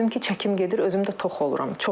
Gördüm ki, çəkim gedir, özüm də tox oluram.